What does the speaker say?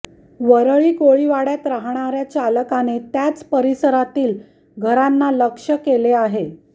वरळी कोळीवाड्यात राहणाऱ्या चालकाने त्याच परिसरातील घरांना लक्ष्य केले होते